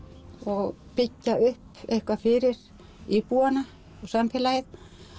og byggja upp eitthvað fyrir íbúana og samfélagið